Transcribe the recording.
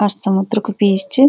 और समुद्र के पीछे --